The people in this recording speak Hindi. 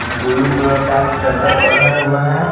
ब्लू कलर का चदर ओढ़ा हुआ है।